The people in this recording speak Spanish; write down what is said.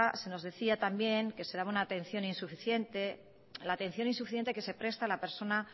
se nos decía también que se daba una atención insuficiente la atención insuficiente que se presta a la persona